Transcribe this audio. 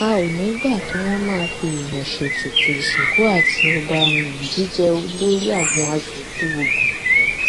a ò ní í gbà kí wọn máa fẹẹyàn ṣètùtù ìsìnkú àti ọba um jíjẹ olórí àwọn asòfin ogun um